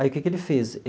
Aí o que que ele fez?